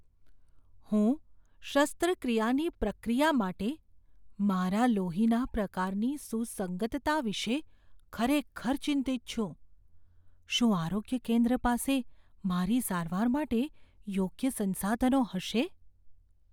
હું શસ્ત્રક્રિયાની પ્રક્રિયા માટે મારા લોહીના પ્રકારની સુસંગતતા વિશે ખરેખર ચિંતિત છું. શું આરોગ્ય કેન્દ્ર પાસે મારી સારવાર માટે યોગ્ય સંસાધનો હશે?